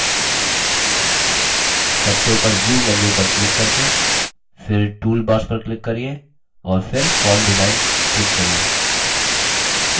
सबसे उपर view menu पर click करके फिर toolbars पर click करिये और फिर form design click करिये